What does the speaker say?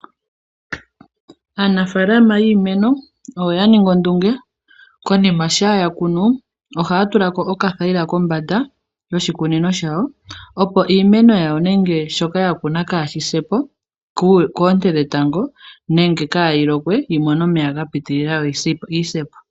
Aanafalama yiimeno oya ningi ondunge konima sha yakunu ohaya tulako okathayila kombanda yoshikunino shawo opo iimeno yawo nenge shoka ya kuna kashi se po koonte dhetango nenge kayi lokwe yimone omeya ga pitilila yoyi sepo.